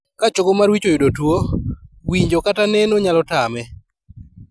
Ka chogo mar wich oyudo tuo, winjo kata neno nyalo tame